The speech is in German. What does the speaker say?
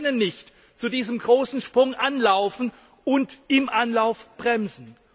Aber wir können nicht zu diesem großen Sprung anlaufen und im Anlauf bremsen.